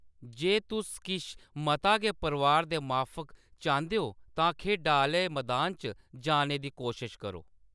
जे तुस किश मता गै परोआर दे माफक चांह्‌‌‌दे ओ तां खेढा आह्‌ले मदान च जाने दी कोशश करो।